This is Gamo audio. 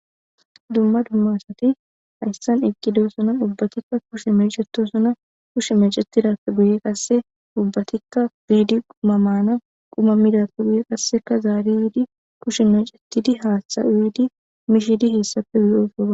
Dumma dumma asati hayssan eqqidosona. Ubbatikka kushe mecetosona. Kushe mecetidappe guye qasse ubbatikka biidi quma mana. Quma midappe guye qasseka zaari yiidi kushi mecetidi haaththa uyidi mishidi hessappe yosona.